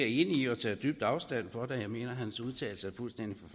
i og tager dybt afstand fra da jeg mener at hans udtalelser